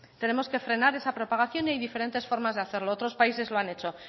tenemos que frenar esa propagación y hay diferentes formas de hacerlo otros países lo han hecho